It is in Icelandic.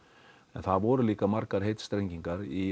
en það voru líka margar heitstrengingar í